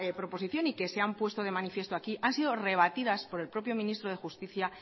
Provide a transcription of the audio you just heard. proposición y que se han puesto de manifiesto aquí han sido rebatidas por el propio ministro de justicia